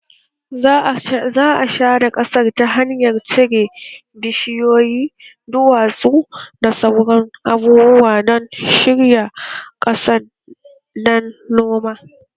Za a share ƙasar ta hanyar cire bishiyoyi, duwatsu, da sauran abubuwa don shirya ƙasan dan noma